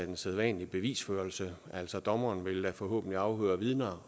en sædvanlig bevisførelse altså dommeren vil da forhåbentlig afhøre vidner